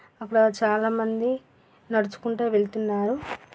అక్కడ చాలా మంది నడుచుకుంటూ వెళ్తున్నారు.